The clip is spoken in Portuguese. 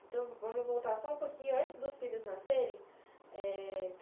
Então, vamos voltar só um pouquinho antes dos filhos nascerem, eh...